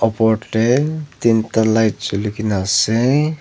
por teh tin ta light joli ki na ase.